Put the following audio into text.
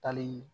Talii